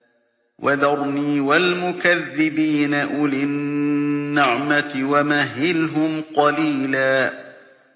وَذَرْنِي وَالْمُكَذِّبِينَ أُولِي النَّعْمَةِ وَمَهِّلْهُمْ قَلِيلًا